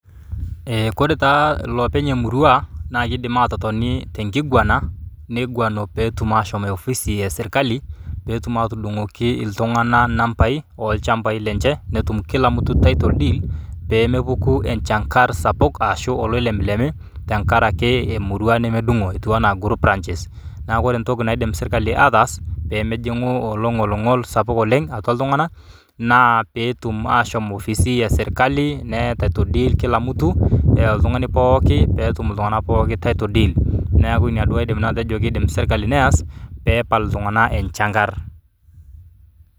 Eh kore taa ilopeny' emurua, naa kiidim aatotoni tenkiguana, niguana peetum aashom ofisi eh serikali, peetum aatudung'oki iltung'ana nambai oo lchambai lenje netum kila mtu title deed, pee mepuku enchang'ar sapuk aashu oloilepilepi tenkaraki emurua nemedungo etiu enaa group ranches. Neaku kore entoki naaidim serikali aatas pee mejungu olongolingoli sapuk oleng' atua iltung'ana, naa peetum aashom ofisi eh serikali neyai title deed kila mtu oltung'ani pooki, peetum iltung'ana pooki title deed. Neaku Ina naji nanu aidim atejo kiidim serikali neas, pee epal iltung'ana enchang'ar.